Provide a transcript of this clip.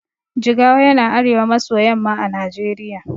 Jigawa yana arewa maso yamma a najeriya